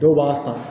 Dɔw b'a san